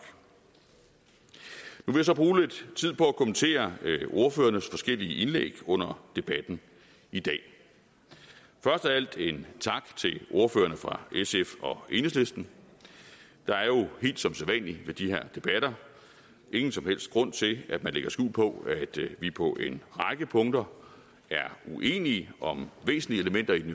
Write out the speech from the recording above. nu vil jeg så bruge lidt tid på at kommentere ordførernes forskellige indlæg under debatten i dag først af alt en tak til ordførerne fra sf og enhedslisten der er jo helt som sædvanlig ved de her debatter ingen som helst grund til at man lægger skjul på at vi på en række punkter er uenige om væsentlige elementer i den